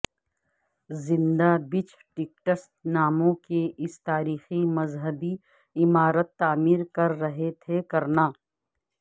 زندہ بچ ٹیکٹس ناموں کہ اس تاریخی مذہبی عمارت تعمیر کر رہے تھے کرنا